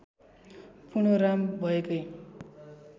पुनः राम भएकै